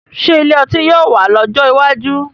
Ṣé ilé ọtí yóò wà lọ́jọ́ iwájú?